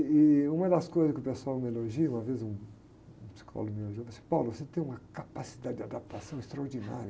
E uma das coisas que o pessoal me elogia, uma vez um, um psicólogo me elogiou, ele disse, você tem uma capacidade de adaptação extraordinária.